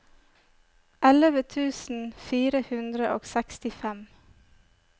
elleve tusen fire hundre og sekstifem